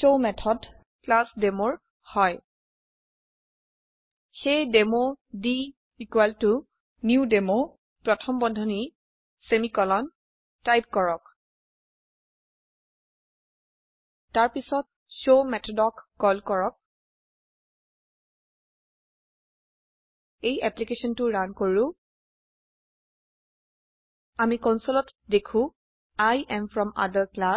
শৱ method class Demoৰ হয় সেয়ে ডেমো d নিউ ডেমো প্ৰথম বন্ধনী সেমিকোলন টাইপ কৰক তাৰপিছত showমেথদক কল কৰক এই অ্যাপ্লিকেশনটো ৰান কৰো আমি কনসোলত দেখো I am from other class